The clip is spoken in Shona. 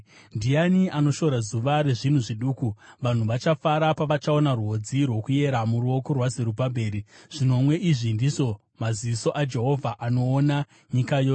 “Ndiani anoshora zuva rezvinhu zviduku? Vanhu vachafara pavachaona rwodzi rwokuyera muruoko rwaZerubhabheri. “(Zvinomwe izvi ndizvo maziso aJehovha, anoona nyika yose.)”